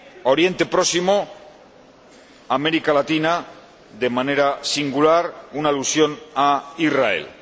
Oriente Próximo, América Latina de manera singular y una alusión a Israel.